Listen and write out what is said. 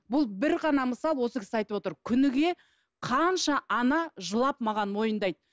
бұл бір ғана мысал осы кісі айтып отыр күніге қанша ана жылап маған мойындайды